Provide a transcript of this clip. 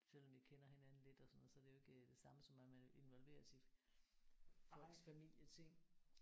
Selvom vi kender hinanden lidt og sådan noget så er det jo ikke det samme som at man vil involveres i folks familieting